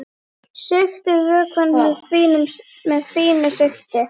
Sigtið vökvann með fínu sigti.